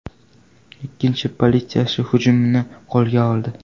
Ikkinchi politsiyachi hujumchini qo‘lga oldi.